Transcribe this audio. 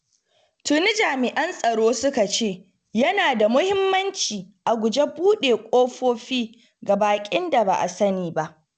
Tuni jami'an tsaro suka ce yana da muhimmanci a guji buɗe ƙofofi ga baƙin da ba a sani ba.